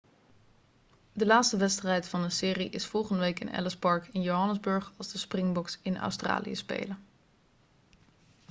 de laatste wedstrijd van de serie is volgende week in ellis park in johannesburg als de springboks in australië spelen